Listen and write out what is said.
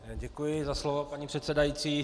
Děkuji za slovo, paní předsedající.